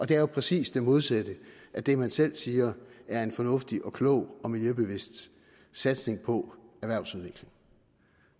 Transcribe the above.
det er jo præcis det modsatte af det man selv siger er en fornuftig og klog og miljøbevidst satsning på erhvervsudvikling